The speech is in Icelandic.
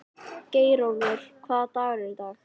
Geirólfur, hvaða dagur er í dag?